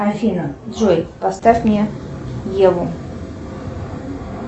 афина джой поставь мне еву